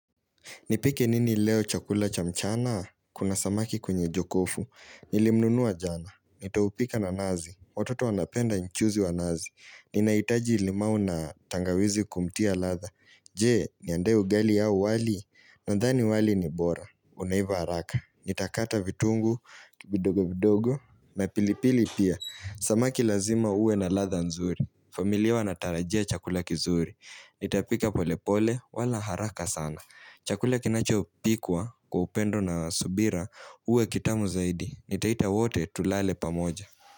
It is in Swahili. Nipike nini leo chakula cha mchana? Kuna samaki kwenye jokofu. Nilimnunuwa jana. Nitaupika na nazi. Watoto wanapenda nchuzi wa nazi. Ninaitaji limau na tangawizi kumtia ladha. Je, niandae ugali auwali. Nandhani wali ni bora. Unaiva haraka. Nitakata vitungu, vidogo vidogo. Na pilipili pia. Samaki lazima uwe na ladha nzuri. Familia wanatarajia chakula kizuri. Nitapika pole pole wala haraka sana. Chakula kinacho pikwa kwa upendo na subira uwe kitamu zaidi. Nitaita wote tulale pamoja.